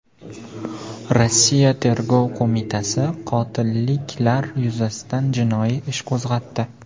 Rossiya tergov qo‘mitasi qotilliklar yuzasidan jinoiy ish qo‘zg‘atdi.